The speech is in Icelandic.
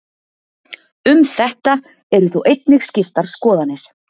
Um þetta eru þó einnig skiptar skoðanir.